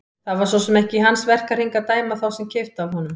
Það var svo sem ekki í hans verkahring að dæma þá sem keyptu af honum.